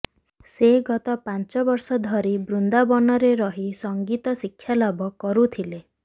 ସେ ଗତ ପାଞ୍ଚ ବର୍ଷ ଧରି ବୃନ୍ଦାବନରେ ରହି ସଙ୍ଗୀତ ଶିକ୍ଷାଲାଭ କରୁଥିଲେ